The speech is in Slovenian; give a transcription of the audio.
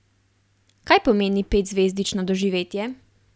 Kaj pomeni petzvezdično doživetje?